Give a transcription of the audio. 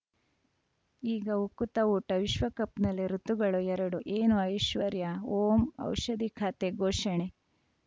ಈಗ ಉಕುತ ಊಟ ವಿಶ್ವಕಪ್‌ನಲ್ಲಿ ಋತುಗಳು ಎರಡು ಏನು ಐಶ್ವರ್ಯಾ ಓಂ ಔಷಧಿ ಖಾತೆ ಘೋಷಣೆ